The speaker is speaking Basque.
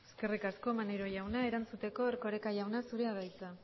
eskerrik asko maneiro jauna erantzuteko erkoreka jauna zurea da hitza